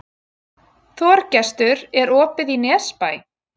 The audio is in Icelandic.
Þorgestur, er opið í Nesbæ?